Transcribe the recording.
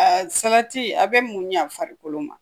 Salati a bɛ mun ɲɛ farikolo ma